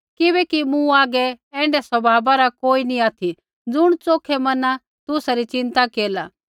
किबैकि मूँ हागै ऐण्ढै स्वभावा रा कोई नी ऑथि ज़ुण च़ोखै मने तुसा री चिंता केरला